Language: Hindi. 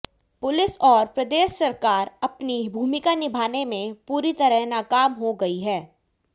पुलिस और प्रदेश सरकार अपनी भूमिका निभाने में पूरी तरह नाकाम हो गई है